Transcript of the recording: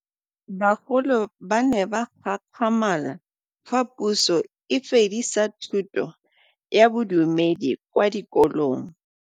Bagolo ba ne ba gakgamala fa Pusô e fedisa thutô ya Bodumedi kwa dikolong.